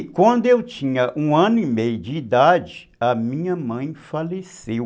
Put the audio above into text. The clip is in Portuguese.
E quando eu tinha um ano e meio de idade, a minha mãe faleceu.